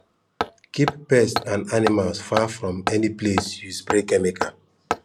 keep pets and animals far from any place you spray chemical